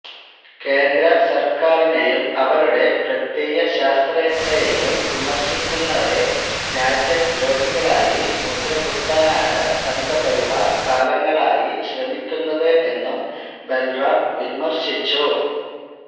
കേന്ദ്ര സര്ക്കാരിനേയും അവരുടെ പ്രത്യയശാസ്ത്രത്തേയും വിമര്ശിക്കുന്നവരെ രാജ്യദ്രോഹികളായി മുദ്രകുത്താനാണ് സംഘപരിവാര് കാലങ്ങളായി ശ്രമിക്കുന്നത് എന്നും ബല്റാം വിമര്ശിച്ചു